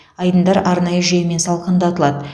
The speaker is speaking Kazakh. айдындар арнайы жүйемен салқындатылады